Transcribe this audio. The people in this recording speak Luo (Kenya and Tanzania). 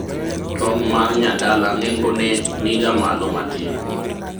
tong' mar nyadala nengone niga malo matin